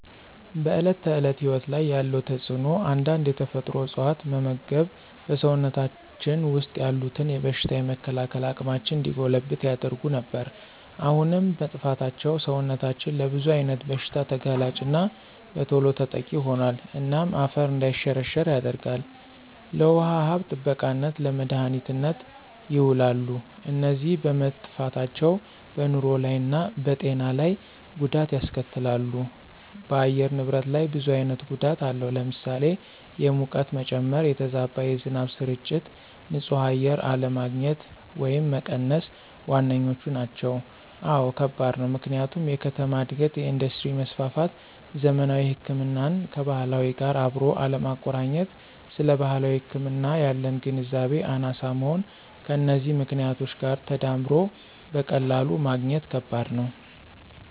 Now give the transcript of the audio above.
በዕለት ተዕለት ሕይወት ላይ ያለው ተጽእኖ አንዳንድ የተፈጥሮ እፅዋት መመግብ በሰውነታችን ወሰጥ ያሉትን የበሽታ የመከላከል አቅማችን እንዲጎለብት ያደርጉ ነበር። አሁን መጥፍታቸው ሰውነታችን ለብዙ አይነት ብሽታ ተጋላጭና በተሎ ተጠቂ ሆኖል። እናም አፈር እንዳይሸረሸራ ያደርጋል፣ ለውሃ ሀብት ጥበቃነት፣ ለመድሀኒትነት የውላሉ። እነዚ በመጠፍታቸው በንሮ ላይ እና በጤና ለይ ጎዳት ያስከትላሉ ደ በአየር ንብረት ላይ ብዙ አይነት ጎዳት አለው ለምሳሌ፦ የሙቀት መጨመ፣ የተዛባ የዝናብ ስርጭት፣ ን ፅህ አየር አለግኝት ወየም መቀነስ ዋነኛዎቹ ናቸው። አወ ከባድ ነው፦ ምክንያቱም የከተማ እድገት፣ የእንዱስትሪ መስፍፍት፣ ዘመናዊ ህክምናን ከባህላዊ ጋር አብሮ አለማቆረኘት ስለባህላዊ ህክምና ያለን ግንዛቤ አናሳ መሆን ከነዚህ ምክኔቶች ጋር ተዳምሮ በቀላሉ ማግኘት ከበድ ነው።